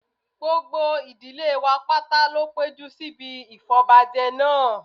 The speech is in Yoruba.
gbogbo ìdílé wa pátá ló péjú síbi ìfọbọbajẹ náà